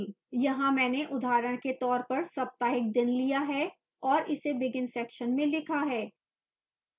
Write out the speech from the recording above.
यहाँ मैंने उदाहरण के तौर पर सप्ताहिक दिन लिया है और इसे begin section में लिखा है